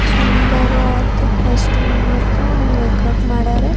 ಸುಂದರ ಆತು ಕಾಸ್ಟ್ಯೂಮ್ ಮತ್ತು ಮೇಕ್ಅಪ್ ಮಾಡರ್.